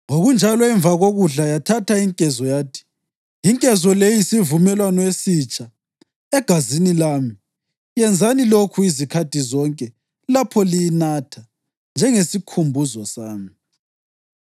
Ngokunjalo, emva kokudla yathatha inkezo, yathi, “Inkezo le iyisivumelwano esitsha egazini lami; yenzani lokhu izikhathi zonke lapho liyinatha, njengesikhumbuzo sami.”